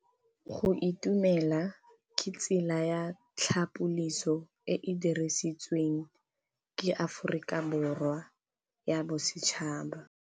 Go itumela ke tsela ya tlhapolisô e e dirisitsweng ke Aforika Borwa ya Bosetšhaba.